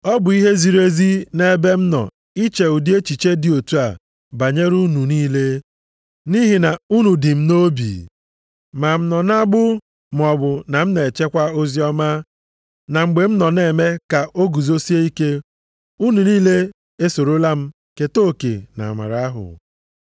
Ọ bụ ihe ziri ezi nʼebe m nọ iche ụdị echiche dị otu a banyere unu niile, nʼihi na unu dị m nʼobi. Ma m nọ nʼagbụ maọbụ na m na-echekwa oziọma, na mgbe m na-eme ka o guzosie ike, unu niile esorola m keta oke nʼamara ahụ.